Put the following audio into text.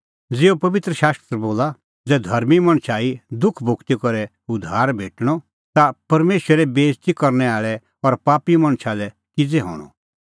ज़िहअ पबित्र शास्त्र बोला ज़ै धर्मीं मणछ ई दुख भुगती करै उद्धार भेटणअ ता परमेशरे बेइज़ती करनै आल़ै और पापी मणछो लै किज़ै हणअ